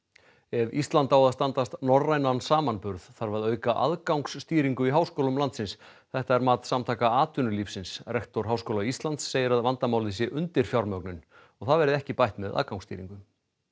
ef Ísland á að standast norrænan samanburð þarf að auka aðgangsstýringu í háskólum landsins þetta er mat Samtaka atvinnulífsins rektor Háskóla Íslands segir að vandamálið sé undirfjármögnun og það verði ekki bætt með aðgangsstýringu